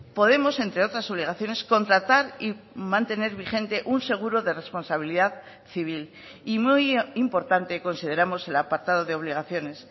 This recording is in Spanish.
podemos entre otras obligaciones contratar y mantener vigente un seguro de responsabilidad civil y muy importante consideramos el apartado de obligaciones